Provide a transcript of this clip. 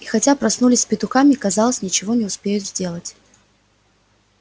и хотя проснулись с петухами казалось ничего не успеют сделать